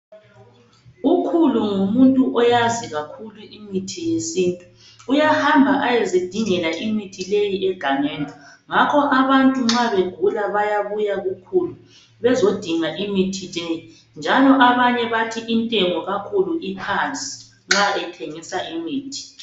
Ukhulu ngumuntu oyazi kakhulu imithi yesintu .Uyahamba ayezidingela imithi leyi egangeni. Ngakho abantu nxa begula bayabuya kukhulu bezodinga imithi leyi. Njalo abanye bathi intengo kakhulu iphansi nxa ethengisa imithi.